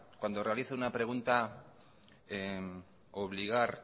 cuando realizo una pregunta obligar